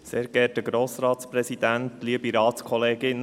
Für die Grünen hat Grossrat Gerber das Wort.